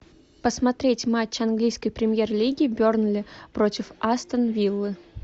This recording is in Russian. посмотреть матч английской премьер лиги бернли против астон виллы